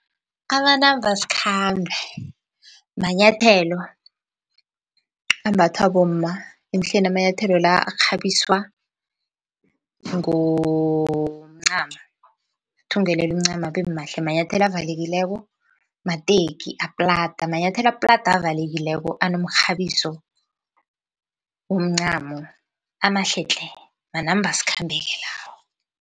Amanambasikhambe manyathelo ambathwa bomma, emhleni amanyathelo la arhabiswa ngomncamo, athungelelwa umncamo abemahle. Manyathelo avalekileko, mateki aplada manyathelo aplada avalekileko anomkghabiso womncamo amahle tle manambasikhambe-ke lawo.